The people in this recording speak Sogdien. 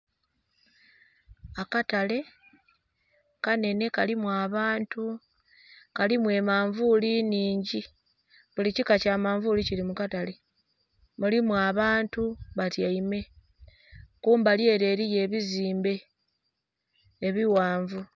Akatale kanhenhe kalimu abantu. Kalimu emanvuuli nnhingi. Buli kika kya manvuuli kili mu katale. Mulimu abantu batyaime. Kumbali ele eliyo ebizimbe ebighanvu.